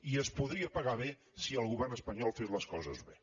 i es podria pagar bé si el govern espanyol fes les coses bé